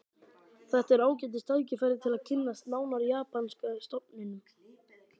Þetta er ágætis tækifæri til að kynnast nánar japanska stofninum